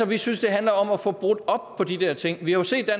vi synes det handler om at få brudt op på de der ting vi har jo set at